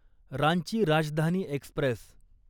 Ranchi Rajdhani Express